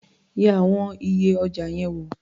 Yẹ àwọn iye ọjà yẹn wò.